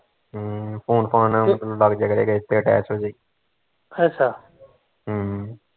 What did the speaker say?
ਹਮ phone ਫਾਨ ਉਸਨੂੰ ਲੱਗ ਜਾਇਆ ਕਰੇਗਾ ਇਸਤੇ attach ਹੋਜੇਗੀ ਹਮ